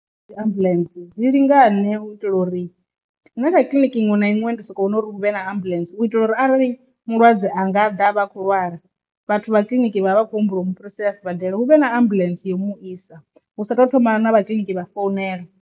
Ndi dzi ambulance dzi lingane u itela uri na kha kiḽiniki iṅwe na iṅwe ndi soko vhona uri hu vhe na ambuḽentse u itela uri arali mulwadze anga ḓa avha a khou lwala vhathu vha kiliniki vha vha vha khou humbula u mu fhirisele a sibadela hu vhe na ambuḽentse yo mu isa hu sa tou thoma na vha kiḽiniki vha founela.